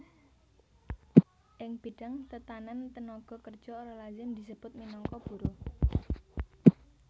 Ing bidang tetanèn tenaga kerja ora lazim disebut minangka buruh